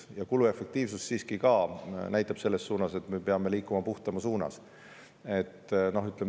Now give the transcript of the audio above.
Ja kuluefektiivsus siiski näitab seda, et me peame liikuma puhtama suunas.